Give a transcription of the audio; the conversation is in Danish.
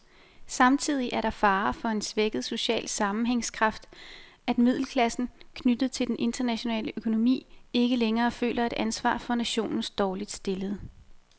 Samtidig er der fare for en svækket social sammenhængskraft, at middelklassen, knyttet til den internationale økonomi, ikke længere føler et ansvar for nationens dårligt stillede.